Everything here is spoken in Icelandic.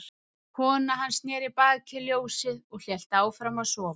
Kona hans sneri baki í ljósið og hélt áfram að sofa.